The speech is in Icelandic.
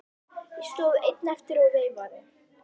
Ég stóð einn eftir og veifaði.